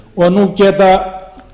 og nú geta